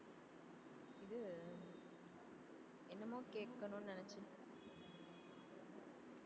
இது என்னமோ கேட்கணும்ன்னு நினைச்சேன்